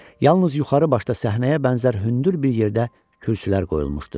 Yalnız yuxarı başda səhnəyə bənzər hündür bir yerdə kürsülər qoyulmuşdu.